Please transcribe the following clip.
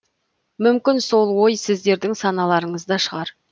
мүмкін сол ой сіздердің саналарыңызда шығар